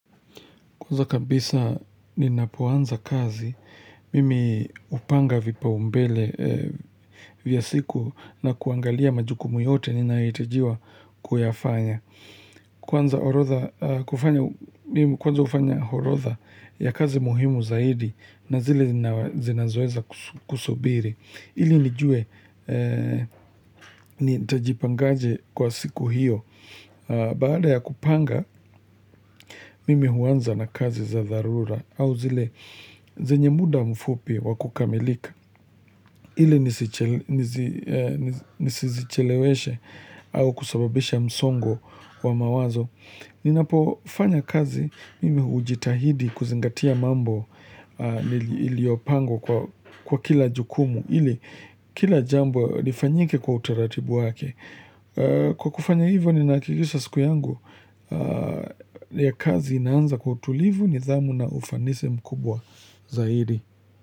Kwanza kabisa ninapoanza kazi, mimi hupanga vipao mbele vya siku na kuangalia majukumu yote ninayohitajiwa kuyafanya. Kwanza ufanya orodha ya kazi muhimu zaidi na zile zinazoeza kusubiri. Ili nijue, nitajipangaje kwa siku hiyo, baada ya kupanga, mimi huanza na kazi za dharura, au zile zenye muda mfupi wakukamilika, ili nisizicheleweshe, au kusababisha msongo wa mawazo. Ninapofanya kazi mimi hujitahidi kuzingatia mambo iliopangwa kwa kila jukumu ili kila jambo lifanyike kwa utaratibu wake. Kwa kufanya hivyo ninakilisha siku yangu ya kazi inaanza kwa utulivu nidhamu na ufanisi mkubwa zaidi.